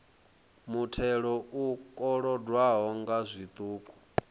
muthelo u kolodwaho nga zwiṱuku